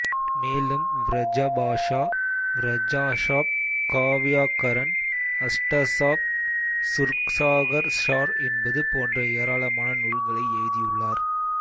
மேலும் வ்ரஜபாஷா வ்ரஜசாப் கா வ்யாகரண் அஷ்டசாப் சூர்சாகர் ஸார் என்பது போன்ற ஏராளமான நூல்களை எழுதியுள்ளார்